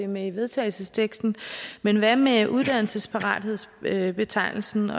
med i vedtagelsesteksten men hvad med uddannelsesparathedsbetegnelsen